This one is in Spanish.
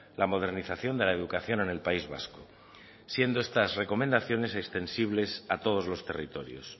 la modernización de la educación en el país vasco siendo estas recomendaciones extensibles a todos los territorios